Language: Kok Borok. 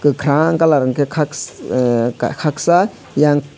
kokarang colour hingke kakss ahh kaksa eyang.